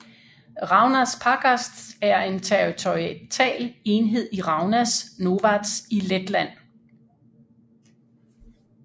Raunas pagasts er en territorial enhed i Raunas novads i Letland